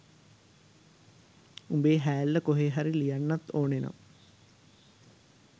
උඹේ හෑල්ල කොහෙ හරි ලියන්නත් ඕනේ නම්